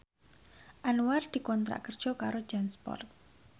Anwar dikontrak kerja karo Jansport